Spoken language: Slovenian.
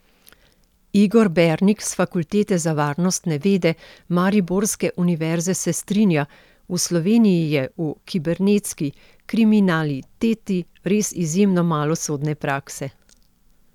Igor Bernik s Fakultete za varnostne vede mariborske univerze se strinja: 'V Sloveniji je v kibernetski kriminaliteti res izjemno malo sodne prakse.